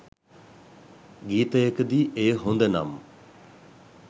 ගීතයකදී එය හොඳ නම්